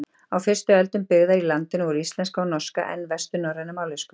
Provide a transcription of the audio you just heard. Á fyrstu öldum byggðar í landinu voru íslenska og norska enn vesturnorrænar mállýskur.